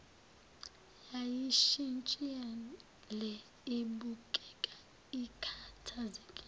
yayishintshile ibukeka ikhathazekile